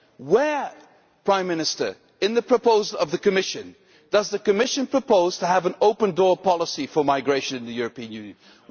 Where, Prime Minister, in the proposal of the Commission, does the Commission propose to have an open door policy for migration into the European Union?